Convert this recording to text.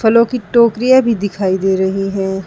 फलों की टोकरियां भी दिखाई दे रही हैं।